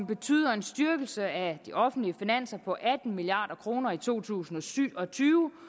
betyder en styrkelse af de offentlige finanser på atten milliard kroner i to tusind og syv og tyve